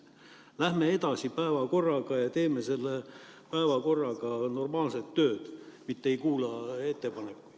Läheme edasi päevakorraga ja teeme selle päevakorraga normaalset tööd, mitte ei kuula ettepanekuid.